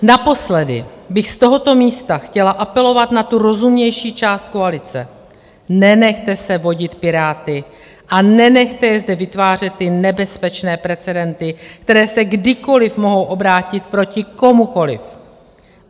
Naposledy bych z tohoto místa chtěla apelovat na tu rozumnější část koalice: Nenechte se vodit Piráty a nenechte je zde vytvářet ty nebezpečné precedenty, které se kdykoli mohou obrátit proti komukoli.